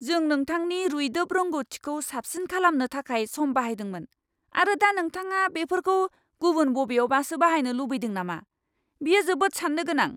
जों नोंथांनि रुइदोब रोंग'थिखौ साबसिन खालामनो थाखाय सम बाहायदोंमोन, आरो दा नोंथाङा बेफोरखौ गुबुन बबेयावबासो बाहायनो लुबैदों नामा? बेयो जोबोद सान्नो गोनां!